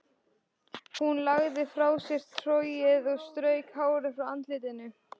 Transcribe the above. Hún lagði frá sér trogið og strauk hárið frá andlitinu.